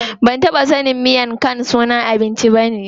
Ban taɓa sanin miang khan sunan abinci ne.